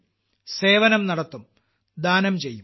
സേവനം നടത്തും ദാനം ചെയ്യും